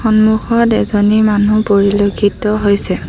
সন্মুখত এজনী মানুহ পৰিলেক্ষিত হৈছে।